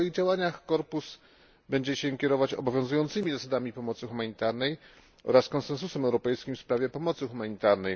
W swoich działaniach Korpus będzie się kierować obowiązującymi zasadami pomocy humanitarnej oraz Konsensusem europejskim w sprawie pomocy humanitarnej.